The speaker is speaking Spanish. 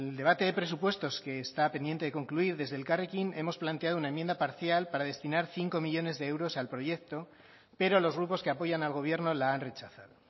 debate de presupuestos que está pendiente de concluir desde elkarrekin hemos planteado una enmienda parcial para destinar cinco millónes de euros al proyecto pero los grupos que apoyan al gobierno la han rechazado